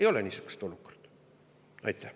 Ei ole niisugust olukorda.